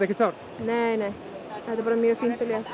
er bara mjög fínt og létt